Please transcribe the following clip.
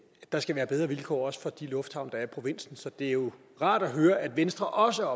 der skal være bedre vilkår også for de lufthavne der er i provinsen så det er jo rart at høre at venstre også